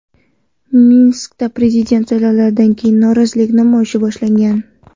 Minskda prezident saylovlaridan keyin norozilik namoyishi boshlangan .